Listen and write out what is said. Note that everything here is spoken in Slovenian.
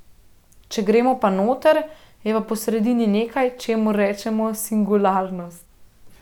Če gremo pa noter, je pa po sredi nekaj, čemur rečemo singularnost.